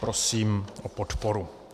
Prosím o podporu.